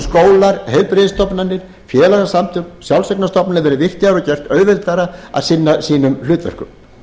skólar heilbrigðisstofnanir félagasamtök sjálfseignarstofnanir verði virkjaðar og gert auðveldara að sinna sínum hlutverkum